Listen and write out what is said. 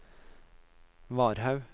Varhaug